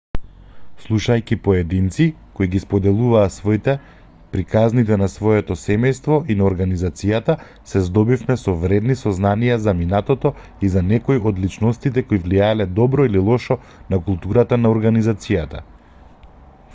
слушајќи поединци кои ги споделуваа своите приказните на своето семејство и на организацијата се здобивме со вредни сознанија за минатото и за некои од личностите кои влијаеле добро или лошо на културата на организацијата